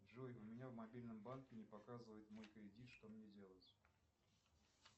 джой у меня в мобильном банке не показывает мой кредит что мне делать